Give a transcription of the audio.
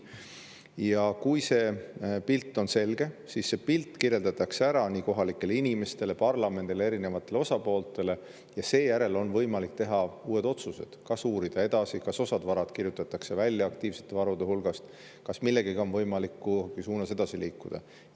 Ja kui see pilt on selge, siis see pilt kirjeldatakse ära kohalikele inimestele, parlamendile, erinevatele osapooltele, ja seejärel on võimalik teha uued otsused, kas uurida edasi, kas osa varasid kirjutatakse välja aktiivsete varude hulgast, kas millegagi on võimalik mingis suunas edasi liikuda.